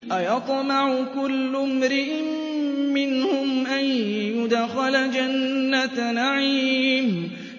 أَيَطْمَعُ كُلُّ امْرِئٍ مِّنْهُمْ أَن يُدْخَلَ جَنَّةَ نَعِيمٍ